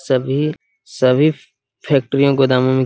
सभी सभी फैक्ट्री गोदामो में --